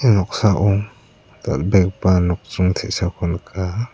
ia noksao dal·begipa nokdring te·sako nika.